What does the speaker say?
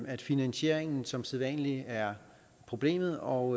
at finansieringen som sædvanlig er problemet og